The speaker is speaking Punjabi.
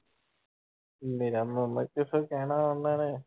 ਮੇਰਾ ਮਾਮਾ ਕਿੱਥੋਂ ਕਹਿਣਾ ਉਹਨਾਂ ਨੇ।